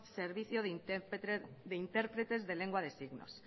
servicio de intérpretes de lengua de signos